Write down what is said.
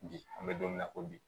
Bi an bɛ don min na ko bi